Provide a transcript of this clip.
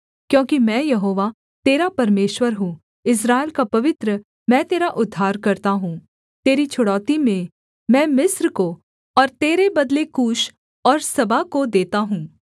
क्योंकि मैं यहोवा तेरा परमेश्वर हूँ इस्राएल का पवित्र मैं तेरा उद्धारकर्ता हूँ तेरी छुड़ौती में मैं मिस्र को और तेरे बदले कूश और सबा को देता हूँ